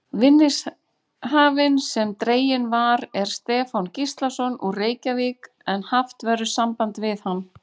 Marinella, hvað geturðu sagt mér um veðrið?